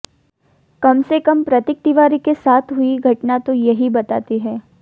कम से कम प्रतीक तिवारी के साथ हुई घटना तो यही बताती है